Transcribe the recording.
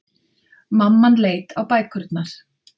Mamman leit á bækurnar.